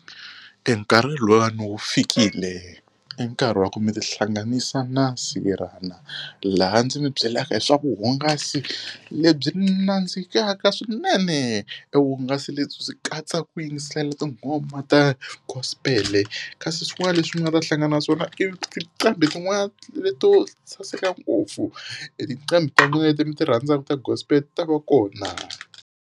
E nkarhi lowuyani wu fikile i nkarhi wa ku mi tihlanganisa na , laha ndzi mi byelaka hi swa vuhungasi lebyi nandzikaka swinene. E vuhungasi lebyi swi katsa ku yingisela tinghoma ta gospel-e kasi swin'wana leswi mi nga ta hlangana na swona i tincambhi tin'wana leto saseka ngopfu. E tincambhi ta n'wina leti mi ti rhandzaka ta gospel ti ta va kona.